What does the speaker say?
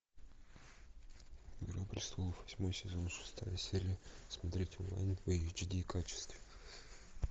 игра престолов восьмой сезон шестая серия смотреть онлайн в эйч ди качестве